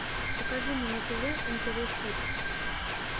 покажи мне на тв нтв хит